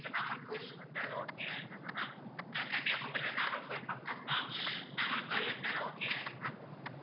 இப்போ நாகர்கோவில் வந்தாலும் okay தான ma'am கன்னியாகுமரில நாகர்கோவில் பக்கம் தான் நாகர்கோவில்ல இருந்தாலும் okay தானே ma'am